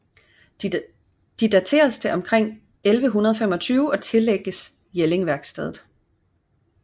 De dateres til omkring 1125 og tillægges Jellingværkstedet